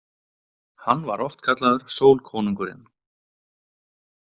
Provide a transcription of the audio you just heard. Hann var oft kallaður sólkonungurinn.